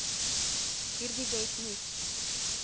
hierdie wet moet